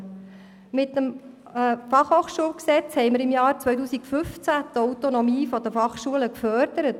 Mit dem Fachhochschulgesetz Gesetz über die Berner Fachhochschule, FaG) haben wir die Autonomie der FH gefördert.